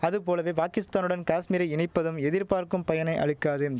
அது போலவே பாகிஸ்தானுடன் காஷ்மீரை இணைப்பதும் எதிர்பார்க்கும் பயனை அளிக்காதும்